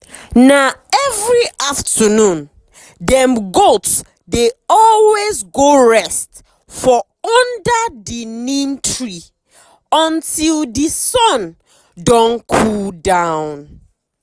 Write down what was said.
na every afternoon dem goat dey always go rest for under the neem tree until the sun don cool down.